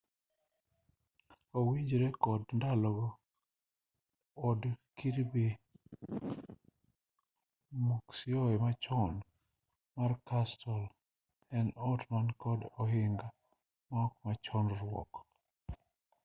owinjore kod ndalogo od kirby muxloe machon mar castle en ot man kod ohinga maok machon ruok